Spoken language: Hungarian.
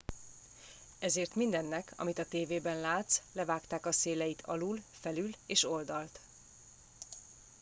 ezért mindennek amit a tévében látsz levágták a széleit alul felül és oldalt